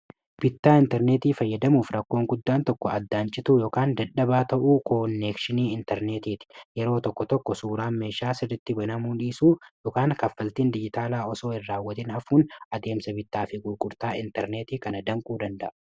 bittaa intarneetii fayyadamuuf rakkoon guddaan tokko addaancitu ykn dadhabaa ta'uu koon neekshinii intarneetii ti yeroo tokko tokko suuraan meeshaa sirritti banamuu dhiisuu ykn kaffaltiin diyyitaalaa osoo ir raawwatin hafuun adeemsa bitaa fi gulqurtaa intarneetii kana danquu danda'a